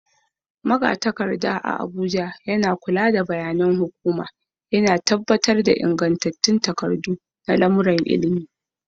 Magatakarda a Abuja yana kula da bayanan hukuma, yana tabbatar da ingantattun takardu na lamuran ilimi,